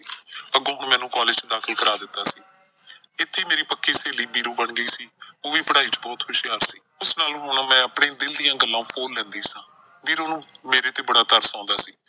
ਅੱਗੋਂ ਮੈਨੂੰ college ਦਾਖ਼ਿਲ ਕਰਾ ਦਿੱਤਾ ਸੀ। ਇੱਥੇ ਮੇਰੀ ਪੱਕੀ ਸਹੇਲੀ ਵੀਰੋ ਬਣ ਗਈ। ਉਹ ਵੀ ਪੜ੍ਹਾਈ ਚ ਬਹੁਤ ਹੁਸ਼ਿਆਰ ਸੀ ਉਸ ਨਾਲ ਹੁਣ ਮੈਂ ਆਪਣੇ ਦਿਲ ਦੀਆਂ ਗੱਲਾਂ ਫੋਲ ਲੈਂਦੀ ਸਾਂ। ਵੀਰੋ ਨੂੰ ਮੇਰੇ ਤੇ ਬੜਾ ਤਰਸ ਆਉਂਦਾ ਸੀ।